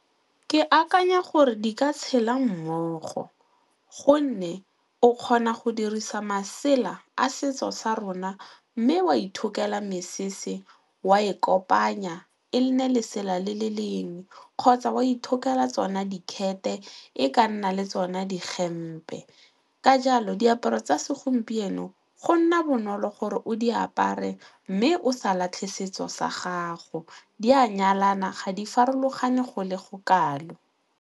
Ke akanya gore di ka tshela mmogo gonne o kgona go dirisa masela a setso sa rona mme wa ithokela mesese, wa e kopanya e le nne lesela le le lengwe kgotsa wa ithokela tsona dikgete e ka nna le tsona dihempe ka jalo diaparo tsa segompieno go nna bonolo gore o di apare mme o sa latlhe setso sa gago di a nyalana ga di farologane go le go kalo.